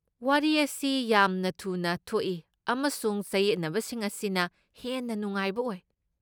ꯋꯥꯔꯤ ꯑꯁꯤ ꯌꯥꯝꯅ ꯊꯨꯅ ꯊꯣꯛꯏ, ꯑꯃꯁꯨꯡ ꯆꯌꯦꯠꯅꯕꯁꯤꯡ ꯑꯁꯤꯅ ꯍꯦꯟꯅ ꯅꯨꯡꯉꯥꯏꯕ ꯑꯣꯏ꯫